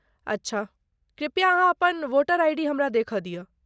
अच्छा, कृपया अहाँ अपन वोटर आइ.डी. हमरा देखय दिय।